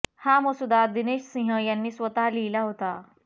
हा मसुदा दिनेश सिंह यांनी स्वतः लिहिला होता